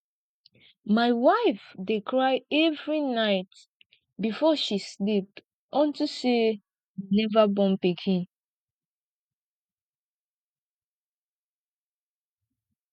my wife dey cry every night before she sleep unto say we never born pikin